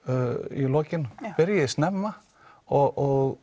í lokin byrji snemma og